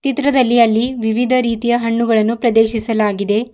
ಚಿತ್ರದಲ್ಲಿ ಅಲ್ಲಿ ವಿವಿಧ ರೀತಿಯ ಹಣ್ಣುಗಳನ್ನು ಪ್ರದೇಶಿಸಲಾಗಿದೆ.